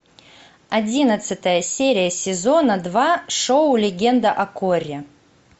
одиннадцатая серия сезона два шоу легенда о корре